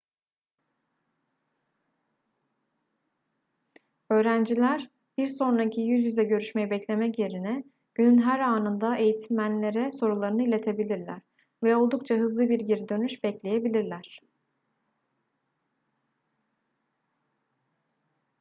öğrenciler bir sonraki yüz yüze görüşmeyi beklemek yerine günün her anında eğitmenlere sorularını iletebilirler ve oldukça hızlı bir geri dönüş bekleyebilirler